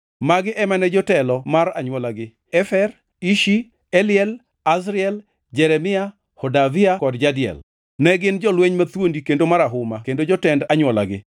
Magi ema ne jotelo mar anywolagi: Efer, Ishi, Eliel Azriel, Jeremia, Hodavia kod Jadiel. Ne gin jolweny mathuondi kendo marahuma kendo jotend anywolagi.